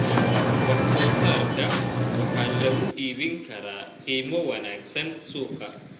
Wax soo saarka waxaa lagu iibin karaa qiimo wanaagsan suuqa.